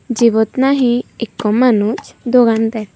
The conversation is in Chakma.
jibot nahi ekko manus dogan der.